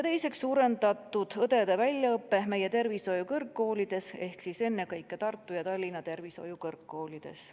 Teiseks, suurendatud õdede väljaõpe meie tervishoiukõrgkoolides ehk ennekõike Tartu ja Tallinna tervishoiukõrgkoolides.